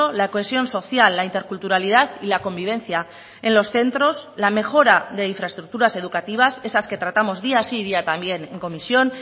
la cohesión social la interculturalidad y la convivencia en los centros la mejora de infraestructuras educativas esas que tratamos día sí y día también en comisión